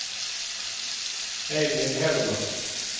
Edvin Hellman